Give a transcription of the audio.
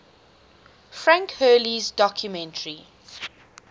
frank hurley's documentary